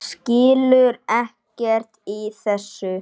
Skilur ekkert í þessu.